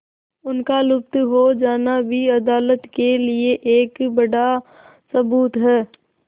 उनका लुप्त हो जाना भी अदालत के लिए एक बड़ा सबूत है